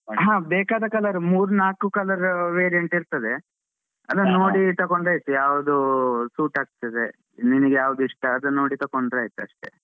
ಹ ಬೇಕಾದ colour ಮೂರ್ ನಾಲ್ಕು colour variant ಇರ್ತದೆ. ನೋಡಿ ತಕೊಂಡ್ರೆ ಆಯ್ತು ಯಾವ್ದೂ suit ಆಗ್ತದೆ ನಿನಿಗ್ ಯಾವ್ದು ಇಷ್ಟ ಅದನ್ನ್ನೋಡಿ ತಕೊಂಡ್ರೆ ಆಯ್ತಷ್ಟೆ.